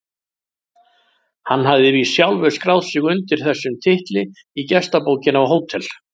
Hann hafði víst sjálfur skráð sig undir þessum titli í gestabókina á Hótel